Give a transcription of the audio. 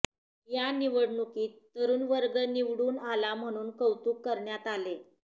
या निवडणुकीत तरुणवर्ग निवडून आला म्हणून कौतुक करण्यात आले